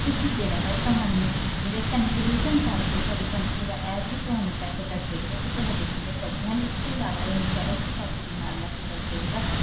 ਤੁਸੀਂ ਜਿਹੜਾ ਏ ਤੁਹਾਨੂੰ conclusion ਕਰਕੇ ਹੀ ਸਾਡੀ ਦਾ ਹੀ ਤੁਹਾਨੂੰ ਦੱਸ ਦੇਗਾ ਕੀ ਤੁਹਾਡੇ ਕਿੰਨੇ ਪੈਸੇ ਹਨ ਇਸ ਤੋਂ ਅਲਾਵਾ ਉਹ insurance ਦੇ ਪੈਸੇ ਵੀ ਨਾਲ ਹੀ ਦੱਸ ਦਵੇਗਾ